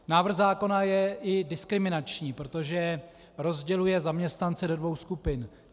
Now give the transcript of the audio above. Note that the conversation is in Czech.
Návrh zákona je i diskriminační, protože rozděluje zaměstnance do dvou skupin.